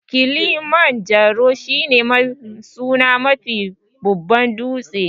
Kilimanjaro shi ne sunan Mafi babban dūtse